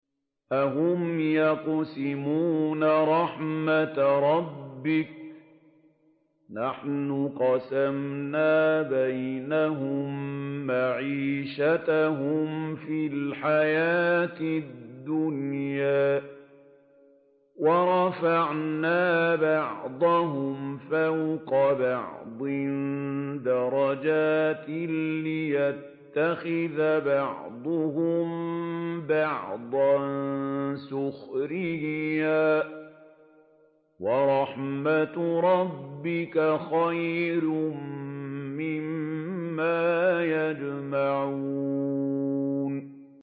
أَهُمْ يَقْسِمُونَ رَحْمَتَ رَبِّكَ ۚ نَحْنُ قَسَمْنَا بَيْنَهُم مَّعِيشَتَهُمْ فِي الْحَيَاةِ الدُّنْيَا ۚ وَرَفَعْنَا بَعْضَهُمْ فَوْقَ بَعْضٍ دَرَجَاتٍ لِّيَتَّخِذَ بَعْضُهُم بَعْضًا سُخْرِيًّا ۗ وَرَحْمَتُ رَبِّكَ خَيْرٌ مِّمَّا يَجْمَعُونَ